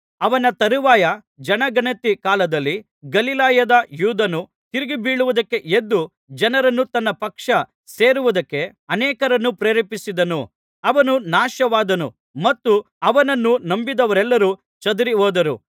ಅವನ ತರುವಾಯ ಜನಗಣತಿ ಕಾಲದಲ್ಲಿ ಗಲಿಲಾಯದ ಯೂದನು ತಿರುಗಿಬೀಳುವುದಕ್ಕೆ ಎದ್ದು ಜನರನ್ನು ತನ್ನ ಪಕ್ಷ ಸೇರುವುದಕ್ಕೆ ಅನೇಕರನ್ನು ಪ್ರೇರೇಪಿಸಿದನು ಅವನೂ ನಾಶವಾದನು ಮತ್ತು ಅವನನ್ನು ನಂಬಿದವರೆಲ್ಲರು ಚದರಿಹೋದರು